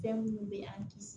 Fɛn minnu bɛ an kisi